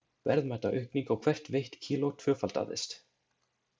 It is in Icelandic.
Verðmætaaukning á hvert veitt kíló tvöfaldaðist.